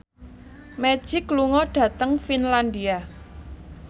Magic lunga dhateng Finlandia